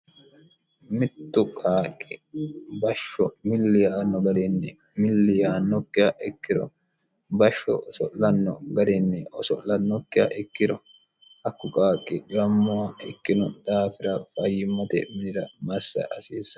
mittu qaaqqi bashsho milliyaanno garinni milliyaannokkiha ikkiro bashsho oso'lanno garinni oso'lannokkiha ikkiro hakku qaaqqi dhimmowa ikkino daafira fayyimmote minira massa hasiissanno